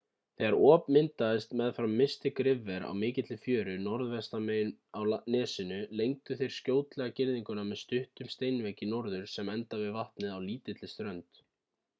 þegar op myndaðist meðfram mystic river á mikilli fjöru norðvestan megin á nesinu lengdu þeir skjótlega girðinguna með stuttum steinvegg í norður sem endar við vatnið á lítilli strönd